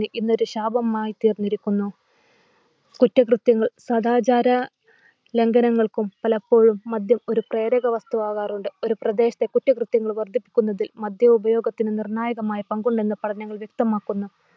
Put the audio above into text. ഇന്ന് ഒരു ശാപമായി തീർന്നിരിക്കുന്നു. കുറ്റകൃത്യങ്ങൾ സദാചാര ലംഘനങ്ങൾക്കും പലപ്പോഴും മദ്യം ഒരു പ്രേരക വസ്തു വാകാറുണ്ട്. ഒരു പ്രദേശത്തെ കുറ്റകൃത്യങ്ങൾ വർധിപ്പിക്കുന്നതിൽ മദ്യ ഉപയോഗത്തിന് നിർണായകമായ പങ്കുണ്ടെന്ന് പഠനങ്ങൾ വ്യക്തമാക്കുന്നു